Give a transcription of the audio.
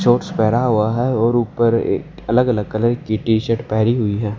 Shorts पेहरा हुआ है और ऊपर ए अलग अलग कलर की टी शर्ट पेहरी हुई है।